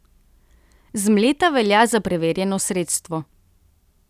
Zmleta velja za preverjeno sredstvo.